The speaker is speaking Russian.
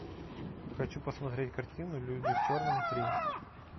хочу посмотреть картину люди в черном три